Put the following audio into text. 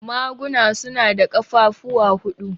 Maguna su na da ƙafafuwa huɗu.